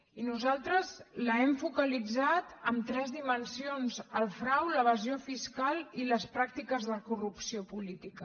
i nosaltres l’hem focalitzat en tres dimensions el frau l’evasió fiscal i les pràctiques de corrupció política